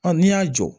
n'i y'a jɔ